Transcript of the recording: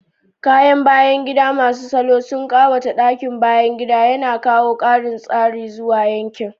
Kayan bayan gida masu salo sun ƙawata ɗakin bayan gida, yana kawo ƙarin tsari zuwa yankin.